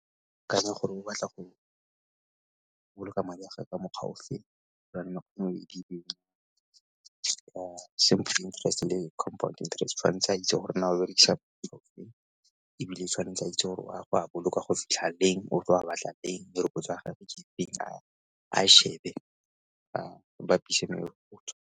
Ke akanya gore o batla go boloka madi a ge ka mokgwa ofe same thing le compound interest tshwantse a itse gore na o berekisa ebile o tshwanetse a itse gore o a batla go a boloka go fitlha leng, o tlo a batla neng a e shebe a e bapise .